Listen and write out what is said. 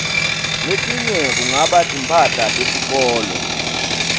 letinye kungaba timphahla tesikolo